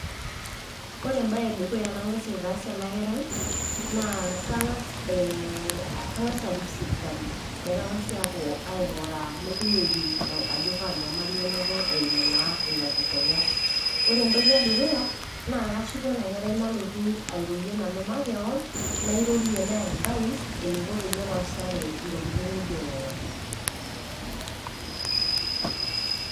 Ore embae e dukuya nang'as aitaas ena kerai naa kang'ass arik sipitali meshomoiki ainguraa, neng'asi aipim ajo Kaa nyamali einoto eimu naa ina kikonya. Ore entoki e dukuya naa kashuku ena kerai nalotu airorie nanu makewan, nairorie naiadfais, eneiko peyie epaashare intokitin naijo nena.